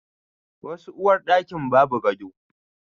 Wasu uwarɗakin ba bu gado.